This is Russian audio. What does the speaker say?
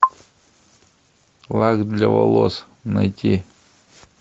лак для волос найти